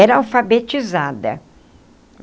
Era alfabetizada.